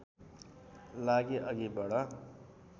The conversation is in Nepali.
लागि अघि बढ